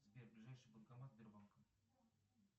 сбер ближайший банкомат сбербанка